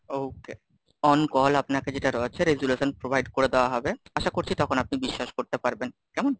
okay On call আপনাকে যেটা রয়ছে, resolution provide করে দেওয় হবে, আশা করছি তখন আপনি বিশ্বাস করতে পারবেন, কেমন?